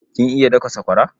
Kin iya daka sakwara?